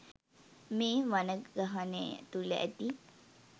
මේ වනගහනය තුළ ඇති